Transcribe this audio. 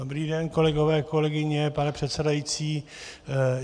Dobrý den, kolegové, kolegyně, pane předsedající.